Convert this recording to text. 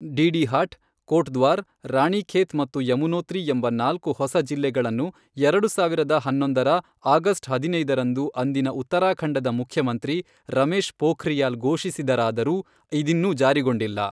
ಡೀಡೀಹಾಟ್, ಕೋಟ್ದ್ವಾರ್, ರಾಣಿಖೇತ್ ಮತ್ತು ಯಮುನೋತ್ರಿ ಎಂಬ ನಾಲ್ಕು ಹೊಸ ಜಿಲ್ಲೆಗಳನ್ನು ಎರಡು ಸಾವಿರದ ಹನ್ನೊಂದರ ಆಗಸ್ಟ್ ಹದಿನೈದರಂದು ಅಂದಿನ ಉತ್ತರಾಖಂಡದ ಮುಖ್ಯಮಂತ್ರಿ ರಮೇಶ್ ಪೋಖ್ರಿಯಾಲ್ ಘೋಷಿಸಿದರಾದರೂ ಇದಿನ್ನೂ ಜಾರಿಗೊಂಡಿಲ್ಲ.